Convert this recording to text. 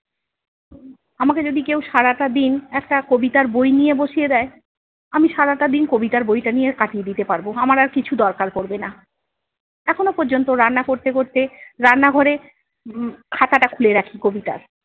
আমাকে যদি কেও সারাটা দিন একটা কবিতার বই নিয়ে বসিয়ে দেয়, আমি সারাটা দিন কবিতার বইটা নিয়ে কাটিয়ে দিতে পারবো। আমার আর কিছু দরকার পড়বে না। এখনো পর্যন্ত রান্না করতে করতে রান্নাঘরে হম হম খাতাটা খুলে রাখি কবিতার।